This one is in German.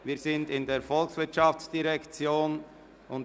Wir sind bei den Traktanden der VOL angelangt.